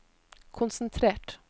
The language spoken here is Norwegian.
konsentrert